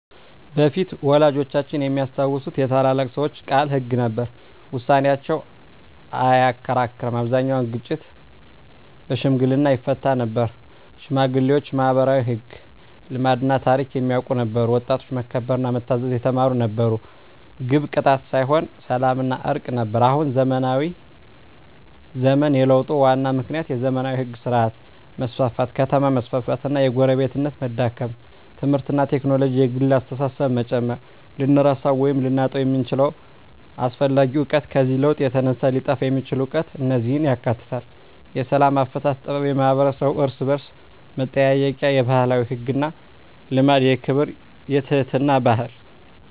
በፊት (ወላጆቻችን የሚያስታውሱት) የታላላቅ ሰዎች ቃል ሕግ ነበር፤ ውሳኔያቸው አይከራከርም አብዛኛውን ግጭት በሽምግልና ይፈታ ነበር ሽማግሌዎች ማኅበራዊ ሕግ፣ ልማድና ታሪክ የሚያውቁ ነበሩ ወጣቶች መከበርና መታዘዝ የተማሩ ነበሩ ግብ ቅጣት ሳይሆን ሰላምና እርቅ ነበር አሁን (ዘመናዊ ዘመን) የለውጡ ዋና ምክንያቶች የዘመናዊ ሕግ ሥርዓት መስፋፋት ከተማ መስፋፋት እና የጎረቤትነት መዳከም ትምህርትና ቴክኖሎጂ የግል አስተሳሰብን መጨመር ልንረሳው ወይም ልናጣው የምንችለው አስፈላጊ እውቀት ከዚህ ለውጥ የተነሳ ሊጠፋ የሚችል እውቀት እነዚህን ያካትታል፦ የሰላም አፈታት ጥበብ የማኅበረሰብ እርስ–በርስ መጠያየቅ የባህላዊ ሕግና ልማድ የክብርና የትሕትና ባህል